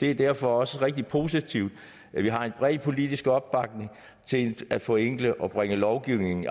det er derfor også rigtig positivt at vi har en bred politisk opbakning til at forenkle og bringe lovgivningen